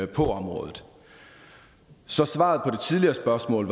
på området så svaret på det tidligere spørgsmål